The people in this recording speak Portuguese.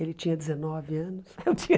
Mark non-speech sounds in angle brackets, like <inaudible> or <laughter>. Ele tinha dezenove anos, eu tinha <laughs>